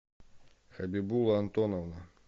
хабибулла антоновна